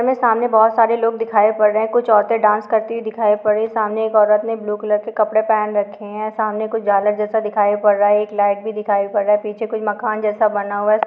हमें सामने बहुत सारे लोग दिखाई पड़ रहे हैं कुछ औरते डांस करती दिखाई पड़ रही हैं सामने एक औरत ने ब्लू कलर के कपड़े पहन रखे हैं सामने कुछ झालर जैसा दिखाई पड़ रहा है एक लाईट भी दिखाई पड़ रहा है पीछे कुछ मकान जैसा बना हुआ है।